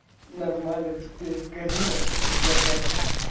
нормально теперь карина это якорь